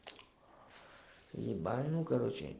ебаль ну короче